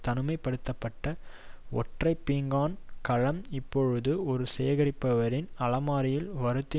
தனிமை படுத்த பட்ட ஒற்றை பீங்கான் கலம் இப்பொழுது ஒரு சேகரிப்பவரின் அலமாரியில் வருந்தி